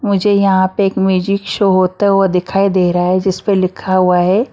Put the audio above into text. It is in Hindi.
मुझे यहां पे एक म्यूजिक शो होता हुआ दिखाई दे रहा है जिस पर लिखा हुआ है ।